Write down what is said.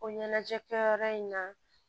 O ɲɛnajɛ kɛyɔrɔ in na